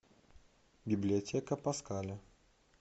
библиотека паскаля